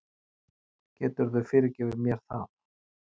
Geturðu fyrirgefið mér það?